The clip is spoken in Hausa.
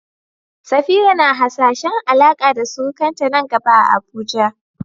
Safira na hasashen Alaƙa da surukanta nan gaba a Abuja.